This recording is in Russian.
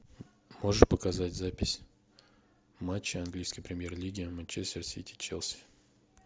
можешь показать запись матча английской премьер лиги манчестер сити челси